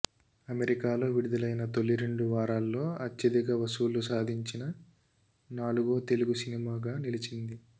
అమెరికాలో విడుదలైన తొలిరెండు వారాల్లో అత్యధిక వసూళ్లు సాదించిన నాలుగో తెలుగు సినిమాగా నిలించింది